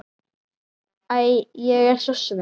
Æ, ég er svo svöng.